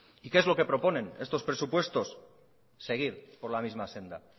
y qué es lo que proponen estos presupuestos seguir por la misma senda